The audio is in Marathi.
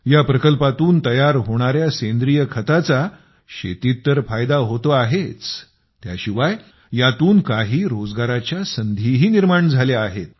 या प्रकल्पातून तयार होणाऱ्या सेंद्रिय खताचा शेतीत तर फायदा होतो आहेच त्याशिवाय यातून काही रोजगारांच्या संधीही निर्माण झाल्या आहेत